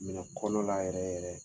Minɛ kɔnɔ la yɛrɛ yɛrɛ